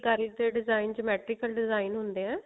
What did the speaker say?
ਫੁਲਕਾਰੀ ਤੇ design geometrical design ਹੁੰਦੇ ਆ